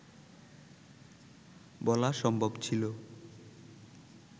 বলা সম্ভব ছিল